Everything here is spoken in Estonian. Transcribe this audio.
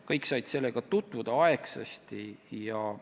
Kõik said sellega aegsasti tutvuda.